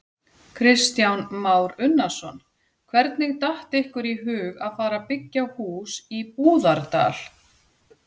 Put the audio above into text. Kristján Már Unnarsson: Hvernig datt ykkur í hug að fara byggja hús í Búðardal?